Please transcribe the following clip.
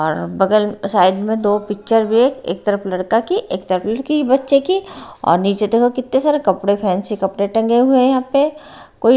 और बगल साइड में दो पिक्चर भी है एक तरफ लड़का की एक तरफ लड़की बच्चे की और नीचे देखो कितने सारे कपड़े फैंसी कपड़े टंगे हुए हैं यहां पे कोई--